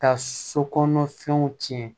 Ka sokɔnɔ fɛnw tiɲɛ